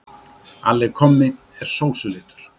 Alli kommi er sósulitur.